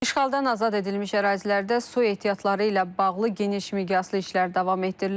İşğaldan azad edilmiş ərazilərdə su ehtiyatları ilə bağlı geniş miqyaslı işlər davam etdirilir.